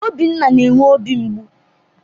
Obinna na-enwe obi mgbụ